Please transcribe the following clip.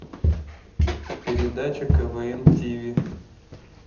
передача квн тв